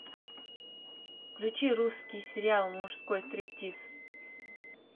включи русский сериал мужской стриптиз